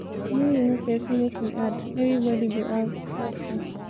no remove person make we add everybody go have have fun